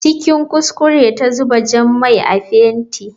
Cikin kuskure ta zuba jan mai a fenti.